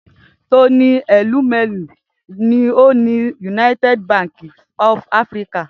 Tony Elumelu ni ó ni United Bank for Africa.